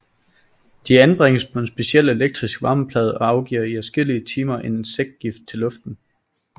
De anbringes på en speciel elektrisk varmeplade og afgiver i adskillige timer en insektgift til luften